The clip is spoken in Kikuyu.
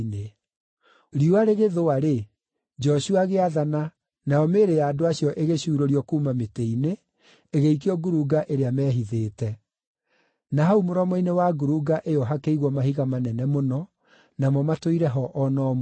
Riũa rĩgĩthũa-rĩ, Joshua agĩathana, nayo mĩĩrĩ ya andũ acio ĩgĩcuurũrio kuuma mĩtĩ-inĩ, ĩgĩikio ngurunga ĩrĩa meehithĩte; na hau mũromo-inĩ wa ngurunga ĩyo hakĩigwo mahiga manene mũno, namo matũire ho o na ũmũthĩ.